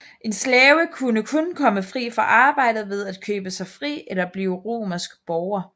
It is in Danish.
En slave kunne kun komme fri fra arbejdet ved at købe sig fri eller blive romersk borger